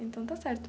Então está certo.